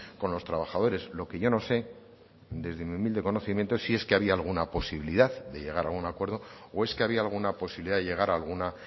con los trabajadores lo que yo no sé desde mi humilde conocimiento si es que había alguna posibilidad de llegar a un acuerdo o es que había alguna posibilidad de llegar a alguna